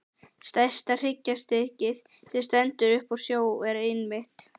Stærsta hryggjarstykkið, sem stendur upp úr sjó, er einmitt